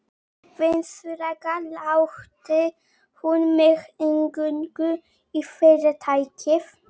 Vissulega latti hún mig inngöngu í Fyrirtækið.